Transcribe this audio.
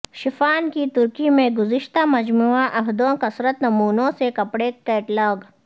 شفان کی ترکی میں گزشتہ مجموعہ عہدوں کثرت نمونوں سے کپڑے کیٹلاگ